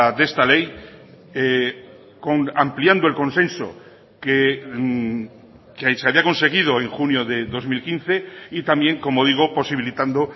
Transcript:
de esta ley ampliando el consenso que se había conseguido en junio de dos mil quince y también como digo posibilitando